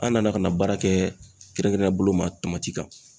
An nana ka na baara kɛ kɛrɛnkɛrɛnnen ya bolo ma tamati kan